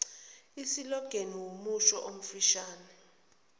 isilogeni wumusho omfishane